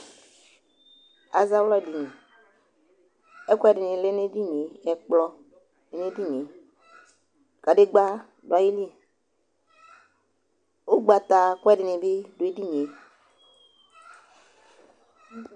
azawla dïnị ɛkuẽdïnï lɛ n'édinié ɛkplɔ dũ edinié kãdegbă duali ʊgbata kuɛdini bi duedinie